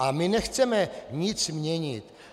A my nechceme nic měnit.